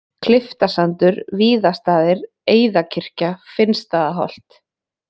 Klyftasandur, Víðastaðir, Eiðakirkja, Finnsstaðaholt